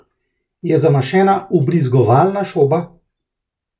Je zamašena vbrizgovalna šoba?